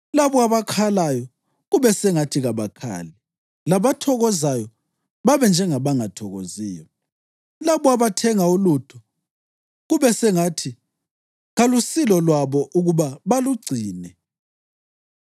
labo abakhalayo, kube sengathi kabakhali; labathokozayo babe njengabangathokoziyo; labo abathenga ulutho, kube sengathi kalusilo lwabo ukuba balugcine;